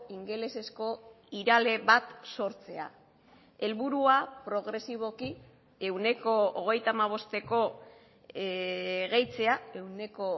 ingelesezko irale bat sortzea helburua progresiboki ehuneko hogeita hamabosteko gehitzea ehuneko